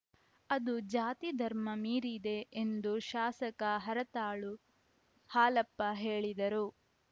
ಅದು ಜಾತಿ ಧರ್ಮ ಮೀರಿದೆ ಎಂದು ಶಾಸಕ ಹರತಾಳು ಹಾಲಪ್ಪ ಹೇಳಿದರು